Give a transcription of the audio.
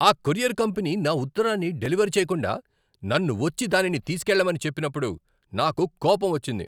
ఆ courier company నా ఉత్తరాన్ని డెలివర్ చేయకుండా, నన్ను వచ్చి దానిని తీసుకెళ్ళమని చెప్పినప్పుడు నాకు కోపం వచ్చింది.